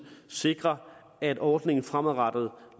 sikre at ordningen fremadrettet